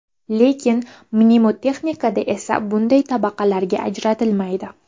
Lekin mnemotexnikada esa bunday tabaqalarga ajratilmaydi.